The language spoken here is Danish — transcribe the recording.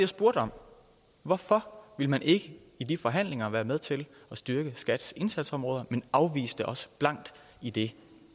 spurgte om hvorfor ville man ikke i de forhandlinger være med til at styrke skats indsatsområder men afviste os blankt i det